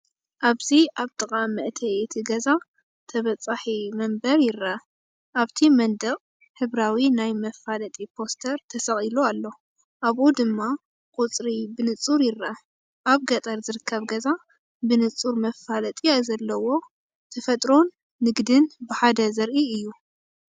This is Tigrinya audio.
ኣብዚ ኣብ ጥቓ መእተዊ እቲ ገዛ፡ ተበጻሒ መንበር ይርአ። ኣብቲ መንደቕ ሕብራዊ ናይ መፋለጢ ፖስተር ተሰቒሉ ኣሎ፡ ኣብኡ ድማ ቁጽሪ ብንጹር ይርአ። ኣብ ገጠር ዝርከብ ገዛ፡ ብንጹር መፋለጢ ዘለዎ! ተፈጥሮን ንግድን ብሓደ ዘርኢ እዩ።